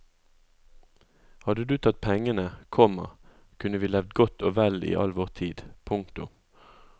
Hadde du tatt pengene, komma kunne vi levd godt og vel i all vår tid. punktum